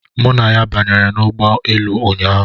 Mụ na ya banyere n'ụgbọelu ụnyaahụ.